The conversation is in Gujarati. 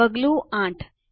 પગલું 8